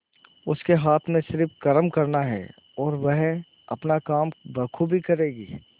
उसके हाथ में सिर्फ कर्म करना है और वह अपना काम बखूबी करेगी